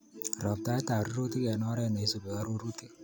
Roptaet ab rurutik eng oret neisubi arorutik